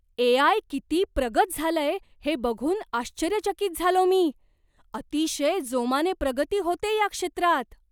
ए. I. किती प्रगत झालंय हे बघून आश्चर्यचकित झालो मी. अतिशय जोमाने प्रगती होतेय या क्षेत्रात.